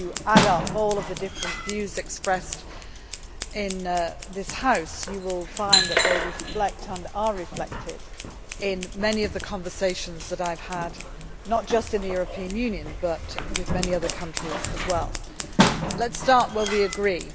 If you add up all the different views expressed in this House, you will find that they reflect, and are reflected in, many of the conversations that I have had, not just in the European Union, but with many other countries as well. Let us start where we agree.